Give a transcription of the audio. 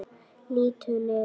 Lít niður.